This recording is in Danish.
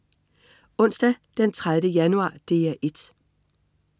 Onsdag den 30. januar - DR 1: